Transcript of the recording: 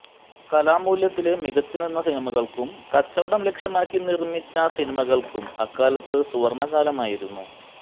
കലാമൂല്യത്തില് മികച്ചുനിന്ന സിനിമകള്ക്കും കച്ചവടം ലക്ഷ്യമാക്കി നിര്മ്മിച്ച സിനിമകള്ക്കും അക്കാലത്ത് സുവര്ണ്ണകാലമായിരുന്നു